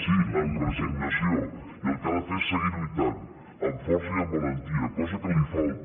sí amb resignació i el que ha de fer és seguir lluitant amb força i amb valentia cosa que li falta